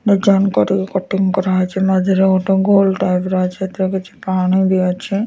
Design କରିକିି cutting କରା ହେଇଛି। ମଝିରେ ଗୋଟେ ଗୋଲ୍ ଟାଇପ୍ ର ଅଛି। ସେଥିରେ କିଛି ପାଣି ଦିଅଛେ।